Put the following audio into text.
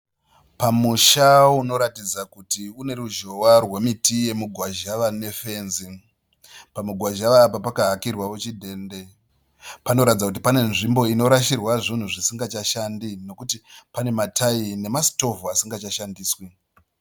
Pamusha unoratidza kuti une ruzhowa rwemiti yemugwazhawa nefenzi. Pamugwazhawa apa pakahakirwawo chidhende. Panoratidza kuti pane nzvimbo inorashirwa zvinhu zvisingachashandi nokuti pane matayi nemasitovhu asingachashandiswi.